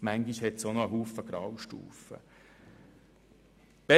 manchmal liegen viele Graustufen dazwischen.